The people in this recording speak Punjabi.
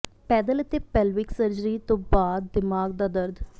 ਪੈਦਲ ਅਤੇ ਪੇਲਵਿਕ ਸਰਜਰੀ ਤੋਂ ਬਾਅਦ ਦਿਮਾਗ ਦਾ ਦਰਦ